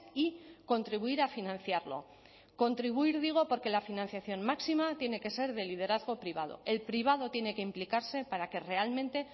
y contribuir a financiarlo contribuir digo porque la financiación máxima tiene que ser de liderazgo privado el privado tiene que implicarse para que realmente